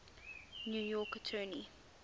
new york attorney